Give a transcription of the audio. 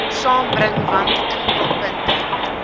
saambring want inproppunte